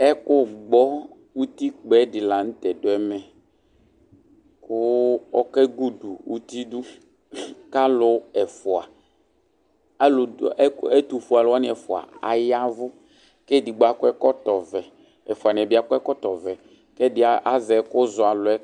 Ɛkʋgbɔ uti kpɛ dila lanʋtɛ dʋ ɛmɛ kʋ oke gudu itu dʋ kʋ alʋ ɛfʋa ɛtʋfue alʋwani ɛfʋa ya ɛvʋ kʋ edigbo akɔ ɛkɔtɔvɛ ɛfʋaniɛ bi akɔ ɛkɔtɔvɛ kʋ ɛdi azɛ ɛkʋzɔ alʋ yɛ